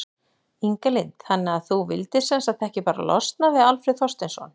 Inga Lind: Þannig að þú vildir sem sagt ekki bara losna við Alfreð Þorsteinsson?